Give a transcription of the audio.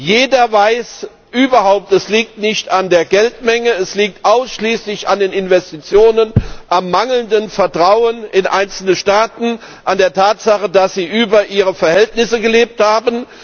Jeder weiß überhaupt, es liegt nicht an der Geldmenge, es liegt ausschließlich an den Investitionen, am mangelnden Vertrauen in einzelne Staaten, an der Tatsache, dass sie über ihre Verhältnisse gelebt haben.